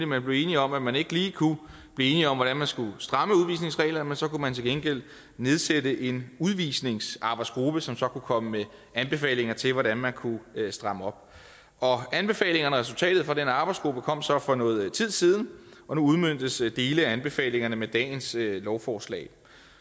man blev enige om at man ikke lige kunne blive enige om hvordan man skulle stramme udvisningsreglerne men så kunne man til gengæld nedsætte en udvisningsarbejdsgruppe som så kunne komme med anbefalinger til hvordan man kunne stramme op anbefalingerne og resultatet fra den arbejdsgruppe kom så for noget tid siden og nu udmøntes dele af anbefalingerne med dagens lovforslag